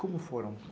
Como foram?